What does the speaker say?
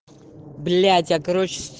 блять